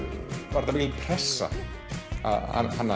var þetta mikil pressa að hanna